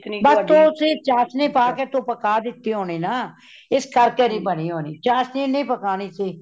ਬਸ ਤੁਸੀਂ ਚਾਸ਼ਨੀ ਪਾ ਕੇ ਤੂੰ ਪਕਾਦਿਤੀ ਹੋਣੀ ਨਾ , ਇਸ ਕਰ ਕੇ ਨਹੀਂ ਬਨੀ ,ਚਾਸ਼ਨੀ ਨਹੀਂ ਪਕਾਨੀ ਸੀ